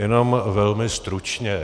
Jenom velmi stručně.